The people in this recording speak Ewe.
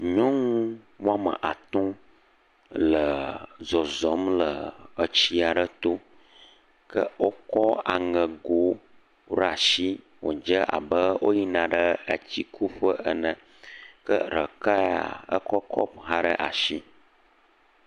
Nyɔŋu wɔme atɔ̃ le zɔzɔm le etsia ɖe to, ke o kɔ aŋe go ra shi, wo dze abe o yina ɖe etsi kuƒe ene, ke ɖeka ya ekɔ kɔpu ɖe ashi.